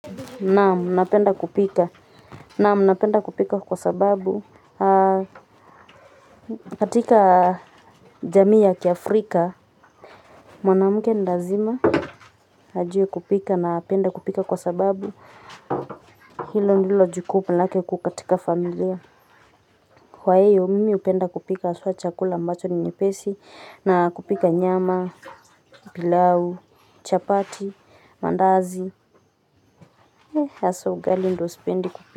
Naam, napenda kupika. Naam, napenda kupika kwa sababu. Katika jamii ya kiafrika. Mwanamuke ni lazima. Ajue kupika na apende kupika kwa sababu. Hilo ndilo jukumu lake kuu katika familia. Kwa hiyo, mimi hupenda kupika haswa chakula ambacho ni nyepesi. Na kupika nyama, pilau, chapati, mandazi. Hasa ugali ndo sipendi kupika.